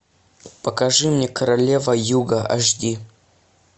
покажи мне королева юга аш ди